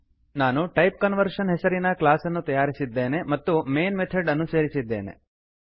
ನಾನು type conversion type conversion ಹೆಸರಿನ class ಅನ್ನು ತಯಾರಿಸಿದ್ದೇನೆ ಮತ್ತು ಮೈನ್ ಮೆಥಡ್ ಅನ್ನು ಸೇರಿಸಿದ್ದೇನೆ